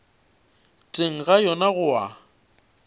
teng ga yona go a